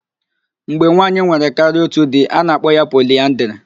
Mgbe nwaanyị nwere karịa otu di, a na-akpọ ya poliaandrị.